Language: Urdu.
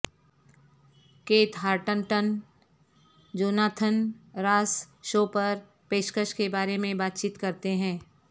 Keith Hartington Jonathan Ross show پر پیشکش کے بارے میں بات چیت کرتے ہیں